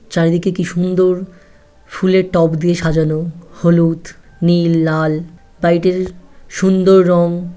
চারিদিকে কি সুন্দর ফুলের টপ দিয়ে সাজানো। হলুদ নীল লাল। বাড়িটির সুন্দর রং ।